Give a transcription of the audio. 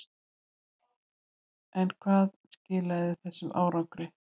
En hvað skilaði þessum árangri?